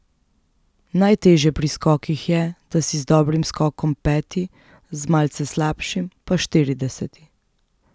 Najtežje pri skokih je, da si z dobrim skokom peti, z malce slabšim pa štirideseti.